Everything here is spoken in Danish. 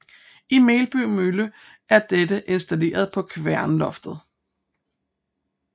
I Melby Mølle er dette installeret på kværnloftet